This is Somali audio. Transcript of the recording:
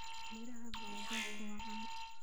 Miraha baobabku waa caan.